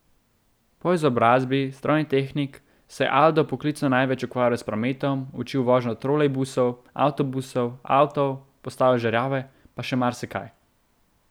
Po izobrazbi strojni tehnik se je Aldo poklicno največ ukvarjal s prometom, učil vožnjo trolejbusov, avtobusov, avtov, postavljal žerjave pa še marsikaj.